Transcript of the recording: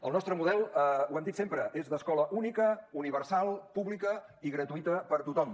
el nostre model ho hem dit sempre és d’escola única universal pública i gratuïta per tothom